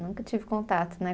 Nunca tive contato, né?